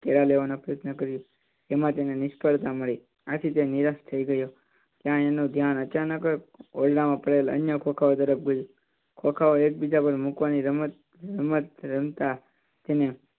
કેળાં લેવાનો પ્રયત્ન કર્યો એમ તેને નિસફળતા મળી આથી તે નિરાશ થઈ ગયો. ત્યાં તેનું ધ્યાન અચાનક ઓરડા માં પડેલા અન્ય ખોંખાઓ તરફ ગયુ, ખોંખાઓ એક બીજા પર મૂકવાની રમત, રમત રમતા